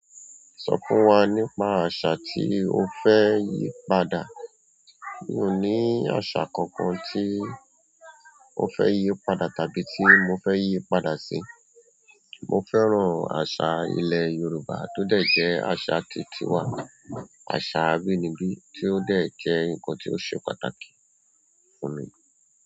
Sọ fún wa nípa àṣà tí o fẹ́ yí padà. Mi ò ní aṣa kankan tí mo fẹ́ yí padà tàbí tí mo fẹ́ yí padà sí. Mo fẹ́ran àṣà ilẹ̀ Yorùbá tó dẹ́ jẹ́ àṣà tí ti wà, àṣà abínibí tí ó dẹ́ jẹ́ ǹkan tí ó ṣe pàtàkì fún mi.